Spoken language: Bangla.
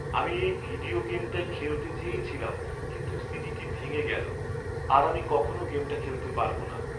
আমি এই ভিডিও গেমটাই খেলতে চেয়েছিলাম কিন্তু সিডিটি ভেঙে গেল। আর আমি কখনও গেমটা খেলতে পারব না।